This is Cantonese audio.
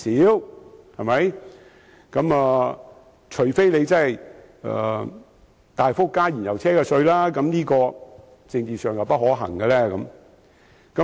要達到這目標，唯有大幅增加燃油車稅款，但這在政治上並不可行。